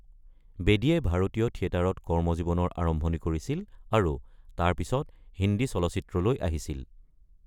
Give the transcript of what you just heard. বেদীয়ে ভাৰতীয় থিয়েটাৰত কৰ্মজীৱনৰ আৰম্ভনি কৰিছিল আৰু তাৰ পিছত হিন্দী চলচ্চিত্ৰলৈ আহিছিল।